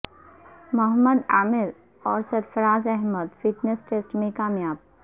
محمد عامر اور Sarfaraz Ahmed fitness test میں کامیاب